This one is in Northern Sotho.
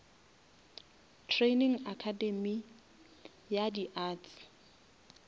training academay ya di arts